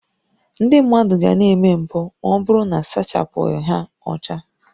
Ndị mmadụ ga na-eme mpụ ma ọ bụrụ na a sachapụghị ha ọcha